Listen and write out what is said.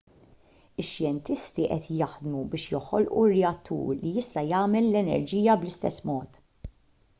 ix-xjentisti qed jaħdmu biex joħolqu reattur li jista' jagħmel l-enerġija bl-istess mod